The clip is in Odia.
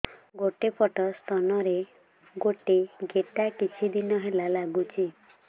ଗୋଟେ ପଟ ସ୍ତନ ରେ ଗୋଟେ ଗେଟା କିଛି ଦିନ ହେଲା ଲାଗୁଛି